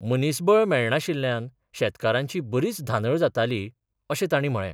मनिसबळ मेळनाशिल्ल्यांन शेतकारांची बरीच धांदड जाताली अशें तांणी म्हळें.